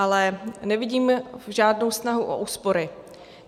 Ale nevidím žádnou snahu o úspory.